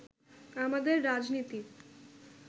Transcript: আমাদের রাজনীতির